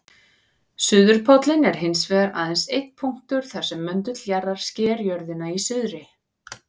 Suðurpóllinn er hins vegar aðeins einn punktur þar sem möndull jarðar sker jörðina í suðri.